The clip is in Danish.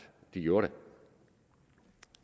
de gjorde det